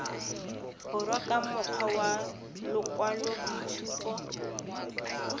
borwa ka mokgwa wa lokwaloboitshupo